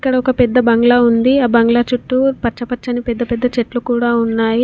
ఇక్కడ ఒక పెద్ద బంగ్లా ఉంది. ఆ బంగ్లా చుట్టూ పచ్చ పచ్చని పెద్ద పెద్ద చెట్లు కూడా ఉన్నాయి.